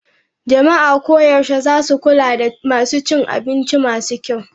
Jama'a koyaushe za su kula da masu cin abinci masu kyau.